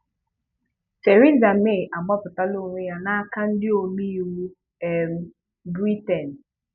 theresa May agbapụtala onwe ya n'aka ndị omeiwu um Britain